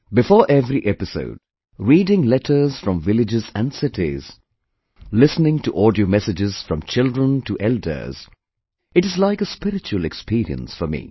Before every episode, reading letters from villages and cities, listening to audio messages from children to elders; it is like a spiritual experience for me